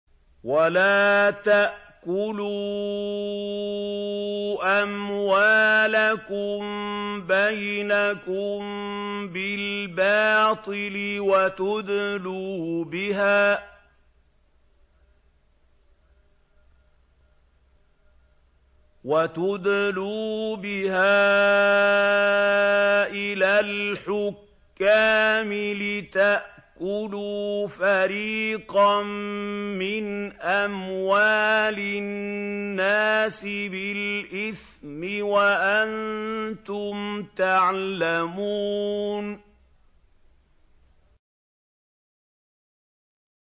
وَلَا تَأْكُلُوا أَمْوَالَكُم بَيْنَكُم بِالْبَاطِلِ وَتُدْلُوا بِهَا إِلَى الْحُكَّامِ لِتَأْكُلُوا فَرِيقًا مِّنْ أَمْوَالِ النَّاسِ بِالْإِثْمِ وَأَنتُمْ تَعْلَمُونَ